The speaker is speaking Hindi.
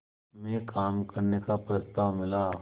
में काम करने का प्रस्ताव मिला